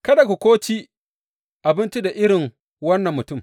Kada ku ko ci abinci da irin wannan mutum.